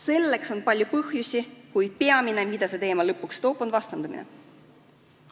Selleks on palju põhjusi, kuid peamine, mida see teema lõpuks kaasa toob, on vastandumine.